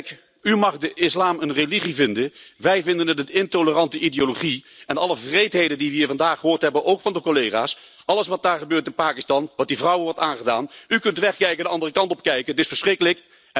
Kijk, u mag de islam een religie vinden, wij vinden het een intolerante ideologie en alle wreedheden die we hier vandaag gehoord hebben, ook van de collega's, alles wat daar gebeurt in Pakistan, wat die vrouwen wordt aangedaan u kunt wegkijken, de andere kant op kijken, maar het is verschrikkelijk.